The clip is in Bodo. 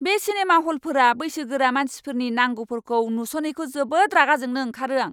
बे सिनेमा ह'लफोरा बैसोगोरा मानसिफोरनि नांगौफोरखौ नुस'नैखौ जोबोद रागा जोंनो ओंखारो आं!